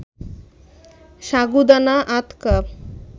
সাগুদানা আধা কাপ